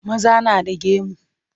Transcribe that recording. Maza na da gemu.